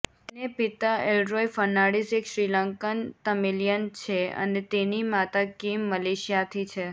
તેને પિતા એલરોય ફર્નાડિસ એક શ્રીલંકન તમિલિયન છે અને તેની માતા કિમ મલેશિયાથી છે